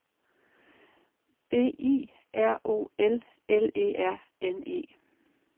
B I R O L L E R N E